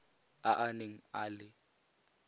a a neng a le